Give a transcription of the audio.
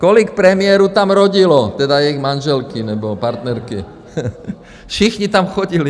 Kolik premiérů tam rodilo, tedy jejich manželky nebo partnerky, všichni tam chodili.